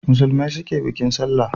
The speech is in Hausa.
Musulmai su ke bikin sallah